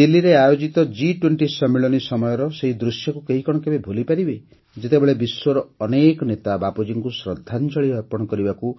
ଦିଲ୍ଲୀରେ ଆୟୋଜିତ ଜି୨୦ ସମ୍ମିଳନୀ ସମୟର ସେହି ଦୃଶ୍ୟକୁ କେହି କଣ କେବେ ଭୁଲିପାରିବ ଯେତେବେଳେ ବିଶ୍ୱର ଅନେକ ନେତା ବାପୁଜୀଙ୍କୁ ଶ୍ରଦ୍ଧାଞ୍ଜଳି ଅର୍ପଣ କରିବାକୁ